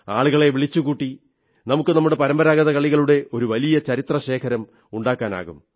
ആളുകളെ വിളിച്ചുകൂട്ടി നമുക്ക് നമ്മുടെ പരമ്പരാഗത കളികളുടെ ഒരു വലിയ ചരിത്രശേഖരം ഉണ്ടാക്കാനാകും